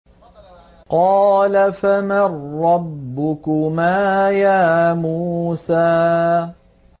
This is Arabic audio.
قَالَ فَمَن رَّبُّكُمَا يَا مُوسَىٰ